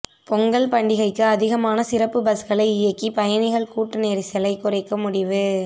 பொங்கல் பண்டிகைக்கு அதிகமான சிறப்பு பஸ்களை இயக்கி பயணிகள் கூட்ட நெரிசலை குறைக்க முடிவு